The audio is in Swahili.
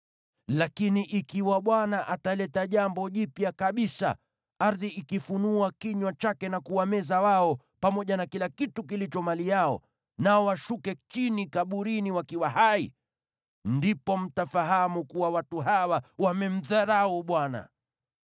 Lakini ikiwa Bwana ataleta jambo jipya kabisa, ardhi ikifunua kinywa chake na kuwameza wao, pamoja na kila kitu kilicho mali yao, nao washuke chini kaburini wakiwa hai, ndipo mtafahamu kuwa watu hawa wamemdharau Bwana .”